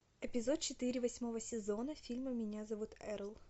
эпизод четыре восьмого сезона фильма меня зовут эрл